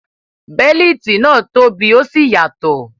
Bẹ́líìtì náà tóbi ó sì yàtọ̀.